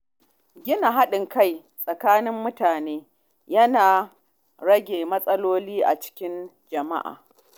Gina haɗin kai tsakanin mutane yana rage matsaloli a cikin jama’a.